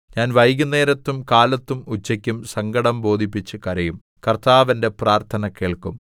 ഞാൻ വൈകുന്നേരത്തും കാലത്തും ഉച്ചയ്ക്കും സങ്കടം ബോധിപ്പിച്ച് കരയും കർത്താവ് എന്റെ പ്രാർത്ഥന കേൾക്കും